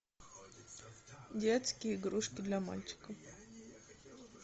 детские игрушки для мальчика